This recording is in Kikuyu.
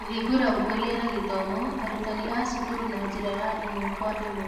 Kũhingũra Ũkũria na Gĩthomo arutani a cukuru na njĩra ya ĩmwe kwa ĩmwe.